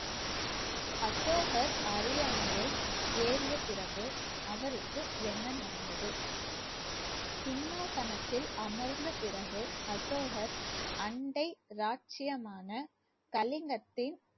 அசோகர் அரியணையை ஏறிய பிறகு அவருக்கு என்ன நடந்தது, சிம்மாசனத்தில் அமர்ந்த பிறகு அசோகர் அண்டை ராஜ்ஜியமான கலிங்கத்தின்